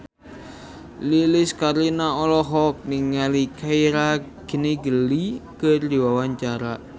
Lilis Karlina olohok ningali Keira Knightley keur diwawancara